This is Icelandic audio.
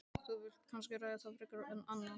Þú vilt kannski ekki ræða það frekar en annað?